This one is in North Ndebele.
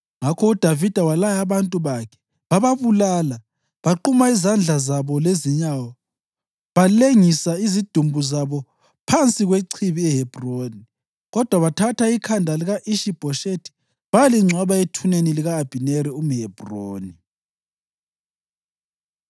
Ngakho uDavida walaya abantu bakhe, bababulala. Baquma izandla zabo lezinyawo, balengisa izidumbu phansi kwechibi eHebhroni. Kodwa bathatha ikhanda lika-Ishi-Bhoshethi bayalingcwaba ethuneni lika-Abhineri eHebhroni.